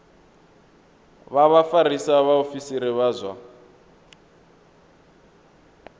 vha vhafarisa vhaofisiri vha zwa